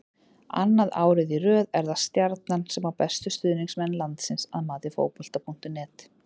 Annað árið í röð er það Stjarnan sem á bestu stuðningsmenn landsins að mati Fótbolta.net.